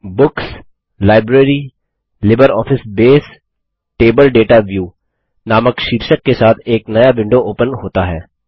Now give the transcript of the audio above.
books - library - LibreOffice Base table data view नामक शीर्षक के साथ एक नया विंडो ओपन होता है